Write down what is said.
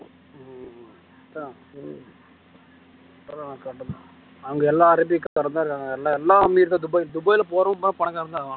அவங்க எல்லாம் அரேபிக்காரங்கதான் இருக்காங்க எல்லா எல்லா அமீர்தான் துபாய்ல போறவன் பூரா பணக்காரன்தான் ஆவானா